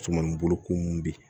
Cuman boloko min bɛ yen